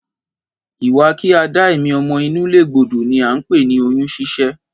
Ìwà kí a dá èmí ọmọ inú légbodò ni a ńpè ní oyún ṣíṣẹ́